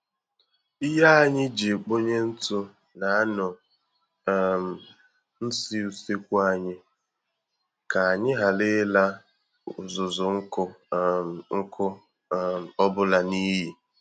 Ihe anyị ji ekponye ntụ na-anọ um nsi usekwu anyị, ka anyị ghara ila uzuzu nkụ um nkụ um ọ bụla n'iyi